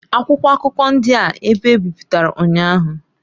Akwụkwọ akụkọ ndị a ebe ebipụtara ụnyaahụ.